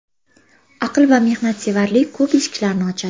Aql va mehnatsevarlik ko‘p eshiklarni ochadi.